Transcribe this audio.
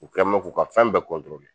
U kɛnbɛ k'u ka fɛn bɛɛ kɔntorole.